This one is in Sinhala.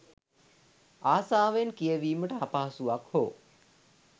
ආසාවෙන් කියවීමට අපහසුවක් හෝ